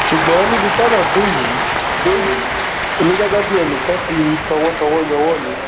ṣùgbọn níbi tọrọ dé yìí dé yìí èmi gẹgẹ bíi enìkan fi tọwọtọwọ yọwọ mi